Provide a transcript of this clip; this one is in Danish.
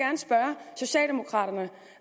socialdemokraterne